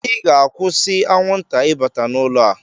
Ị ga-akwụsị anwụnta ịbata n'ụlọ a!